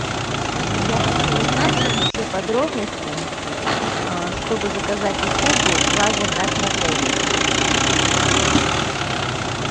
я хочу узнать все подробности чтобы заказать услугу лазертаг в отеле